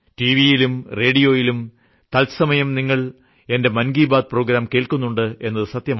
വിയിലും റേഡിയോയിലും തത്സമയം നിങ്ങൾ എന്റെ മൻ കി ബാത് പ്രോഗ്രാം കേൾക്കുന്നുണ്ടെന്നത് സത്യമാണ്